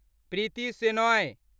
Preeti Shenoy